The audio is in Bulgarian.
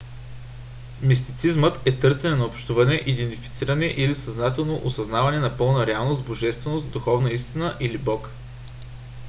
мистицизмът е търсене на общуване идентифициране или съзнателно осъзнаване на пълна реалност божественост духовна истина или бог